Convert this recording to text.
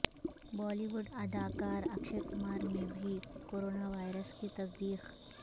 بالی would اداکار اکشے کمار میں بھی کورونا وائرس کی تصدیق